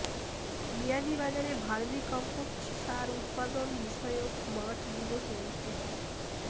বিয়ানীবাজারে vermicompost সার উৎপাদন বিষয়ক মাঠ দিবস অনুষ্ঠিত